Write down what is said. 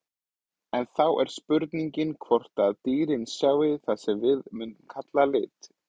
En þá er spurningin hvort dýrin sjái það sem við mundum kalla liti?